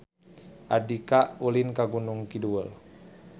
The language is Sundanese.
Andika ulin ka Gunung Kidul